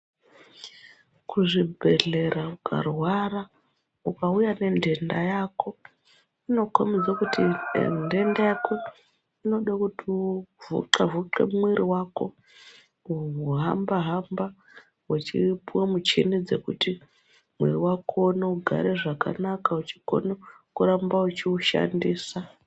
Kuzvibhedhlera ukarwara ukauya nentenda yako inokombidze kuti ntenda yako inode kuti uzoxavhuke mwiiri wako, kumbohamba-hamba wechipuwa muchini dzekuti mwiiri wako uone kugare zvakanaka uchigone kuramba uchiushandisa.